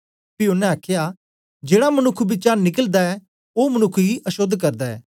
पी ओनें आखया जेड़ा मनुक्ख बिचा निकलदा ऐ ओ मनुक्ख गी अशोद्ध करदा ऐ